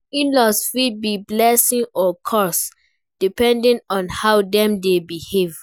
In-laws fit be blessing or curse, depending on how dem dey behave.